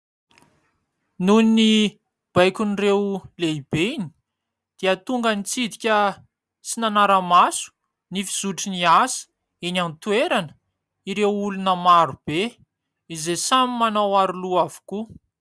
Noho ny baikon'ireo lehibeny dia tonga nitsidika sy nanara-maso ny fizotry ny asa eny an-toerana ireo olona marobe, izay samy manao aro loha avokoa.